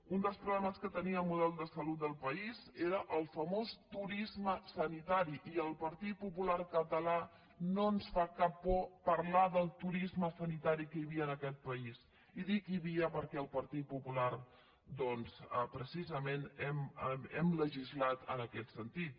un dels problemes que tenia el model de salut del país era el famós turisme sanitari i al partit popular català no ens fa cap por parlar del turisme sanitari que hi havia en aquest país i dic hi havia perquè el partit popular doncs precisament hem legislat en aquest sentit